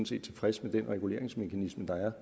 set tilfreds med den reguleringsmekanisme der er